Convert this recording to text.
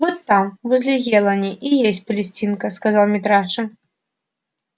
вот там возле елани и есть палестинка сказал митраша